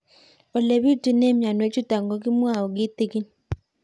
Ole pitune mionwek chutok ko kimwau kitig'ín